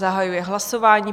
Zahajuji hlasování.